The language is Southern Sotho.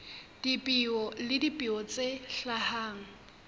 dipeo le dipeo tse hlahang